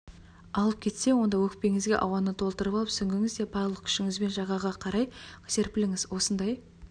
алып кетсе онда өкпеңізге ауаны толтырып алып сүңгіңізде барлық күшіңізбен жағаға қарай қарай серпіліңіз осындай